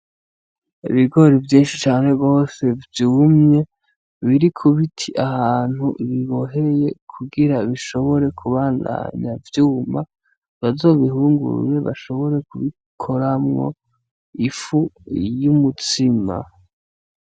Ibigori vyinshi cane gwose vyumye biri kubiti ahantu biboheye kugira bishobore kubandanya vyuma bazobihungurure bashobore kubikoramwo ifu y’umutsima.